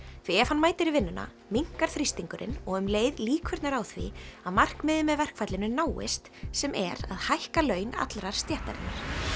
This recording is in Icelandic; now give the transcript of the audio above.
því ef hann mætir í vinnuna minnkar þrýstingurinn og um leið líkurnar á því að markmiðið með verkfallinu náist sem er að hækka laun allrar stéttarinnar